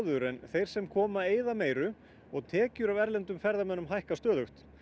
en þeir sem koma eyða meiru og tekjur af erlendum ferðamönnum hækka stöðugt